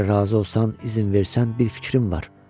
Əgər razı olsan, izin versən, bir fikrim var.